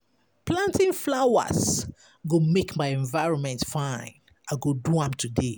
Planting flowers go make my environment fine; I go do am today.